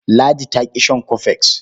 Ladi ta ƙi shan cofex.